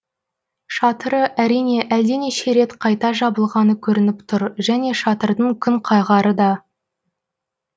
шатыры әрине әлденеше рет қайта жабылғаны көрініп тұр және шатырдың күнқағары да